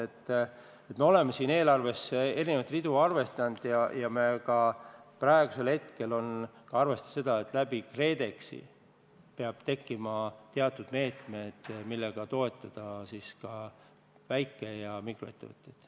Eelnevaga seoses on meil eelarves erinevaid ridu ja praegusel hetkel arvestame ka sellega, et läbi KredExi peavad tekkima teatud meetmed, millega toetada väike- ja mikroettevõtteid.